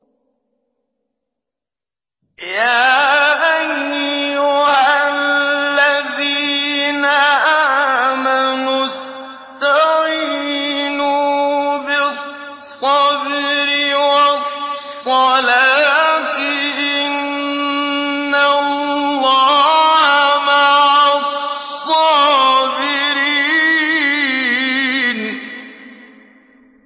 يَا أَيُّهَا الَّذِينَ آمَنُوا اسْتَعِينُوا بِالصَّبْرِ وَالصَّلَاةِ ۚ إِنَّ اللَّهَ مَعَ الصَّابِرِينَ